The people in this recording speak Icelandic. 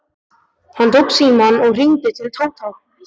Hann tók símann og hringdi til Tóta.